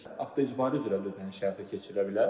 Avto-icbari üzrə də ödəniş həyata keçirilə bilər.